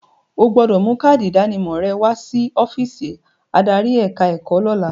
O gbọdọ̀ mú káádì ìdánimọ̀ rẹ wa sí ọ́físì adarí ẹ̀ka ẹ̀kọ́ lọ́la.